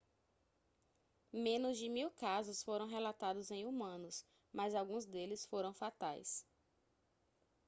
menos de mil casos foram relatados em humanos mas alguns deles foram fatais